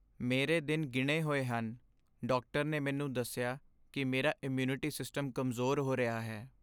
ਮੇਰੇ ਦਿਨ ਗਿਣੇ ਹੋਏ ਹਨ। ਡਾਕਟਰ ਨੇ ਮੈਨੂੰ ਦੱਸਿਆ ਕਿ ਮੇਰਾ ਇਮਿਊਨਿਟੀ ਸਿਸਟਮ ਕਮਜ਼ੋਰ ਹੋ ਰਿਹਾ ਹੈ।